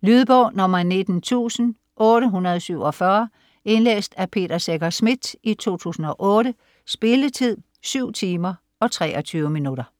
Lydbog 19847 Indlæst af Peter Secher Schmidt, 2008. Spilletid: 7 timer, 23 minutter.